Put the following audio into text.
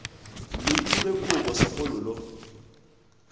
lo thube kobo segole lo